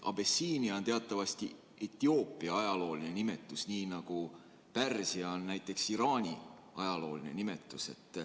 Abessiinia on teatavasti Etioopia ajalooline nimetus, nii nagu Pärsia on Iraani ajalooline nimetus.